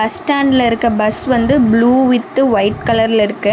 Bus ஸ்டாண்ட்ல இருக்க bus வந்து ப்ளூ வித் வைட் கலர்ல இருக்கு.